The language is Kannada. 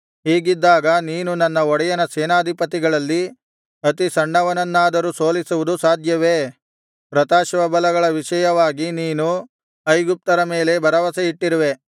ಹೀಗಿದ್ದಾಗ ನೀನು ನನ್ನ ಒಡೆಯನ ಸೇನಾಧಿಪತಿಗಳಲ್ಲಿ ಅತಿ ಸಣ್ಣವನನ್ನಾದರೂ ಸೋಲಿಸುವುದು ಸಾಧ್ಯವೇ ರಥಾಶ್ವಬಲಗಳ ವಿಷಯವಾಗಿ ನೀನು ಐಗುಪ್ತರ ಮೇಲೆ ಭರವಸೆಯಿಟ್ಟಿರುವೆ